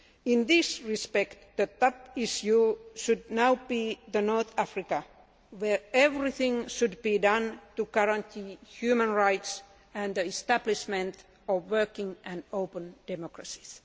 In this respect, the top issue should now be North Africa where everything should be done to guarantee human rights and the establishment of working and open democracies.